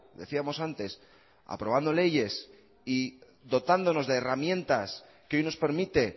decíamos antes aprobando leyes y dotándonos de herramientas que hoy nos permite